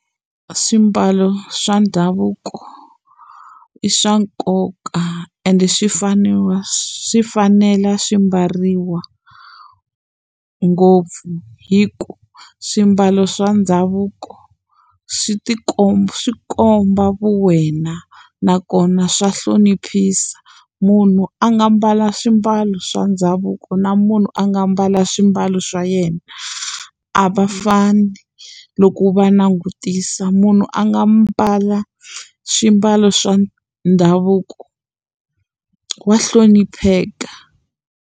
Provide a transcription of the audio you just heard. Swimbalo swa ndhavuko i swa nkoka ende swi faneriwa swi fanela swi mbariwa ngopfu hi ku swimbalo swa ndhavuko swi tikomba swi komba vu wena nakona swa hloniphisa munhu a nga mbala swimbalo swa ndhavuko na munhu a nga mbala swimbalo swa yena a va fani loko va langutisa munhu a nga mbala swimbalo swa ndhavuko wa hlonipheka.